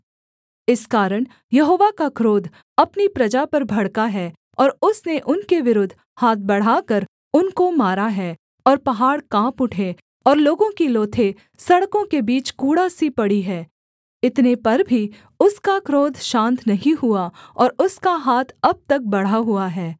इस कारण यहोवा का क्रोध अपनी प्रजा पर भड़का है और उसने उनके विरुद्ध हाथ बढ़ाकर उनको मारा है और पहाड़ काँप उठे और लोगों की लोथें सड़कों के बीच कूड़ा सी पड़ी हैं इतने पर भी उसका क्रोध शान्त नहीं हुआ और उसका हाथ अब तक बढ़ा हुआ है